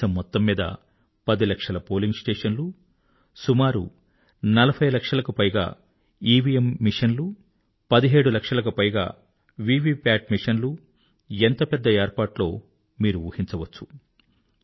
దేశం మొత్తం మీద 10 లక్షల పోలింగ్ స్టేషన్ లు సుమారు 40 లక్షలకు పైగా ఈవిఎమ్ ఇవిఎం మెషిన్లు 17 లక్షలకు పైగా వివిప్యాట్ VVPATమెషిన్లు ఎంత పెద్ద ఏర్పాట్లో మీరు ఊహించవచ్చు